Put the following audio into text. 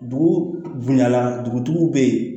Dugu bonyala dugutigiw bɛ yen